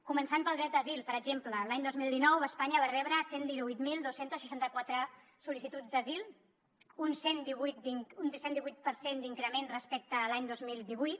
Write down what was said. començant pel dret d’asil per exemple l’any dos mil dinou espanya va rebre cent i divuit mil dos cents i seixanta quatre sol·licituds d’asil un cent divuit per cent d’increment respecte a l’any dos mil divuit